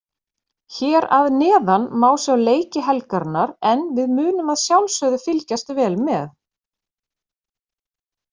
Hér að neðan má sjá leiki helgarinnar en við munum að sjálfsögðu fylgjast vel með.